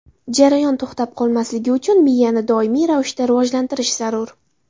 Jarayon to‘xtab qolmasligi uchun miyani doimiy ravishda rivojlantirish zarur.